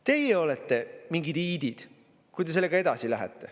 Teie olete mingid iidid, kui te sellega edasi lähete.